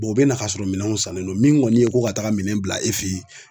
u be na kasɔrɔ minɛnw sannen no min ŋɔni ye ko ka taga minɛn bila e fe ye